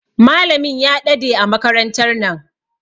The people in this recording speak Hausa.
Malamin ya ɗade a makarantan nan.